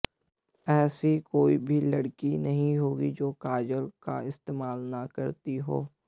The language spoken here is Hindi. ऐसी कोई भी लड़की नहीं होगी जो काजल का इस्तेमाल न करती हो